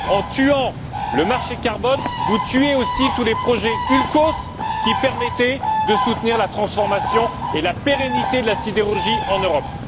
En tuant le marché carbone, vous tuez aussi tous les projets Ulcos qui permettaient de soutenir la transformation et la pérennité de la sidérurgie en Europe.